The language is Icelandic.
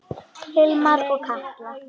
Hilmar og Katla.